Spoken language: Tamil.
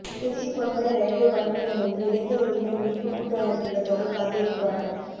திருச்சி பொன்மலை ரயில்வே பணிமனை முன்பு இளைஞர் உரிமை மீட்பு கூட்டமைப்பினர் தொடர் காத்திருப்பு போராட்டம்